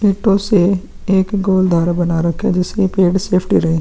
ईंटों से एक गोल धारा बना रखा है जिससे ये पेड़ सेफ्टी रहे।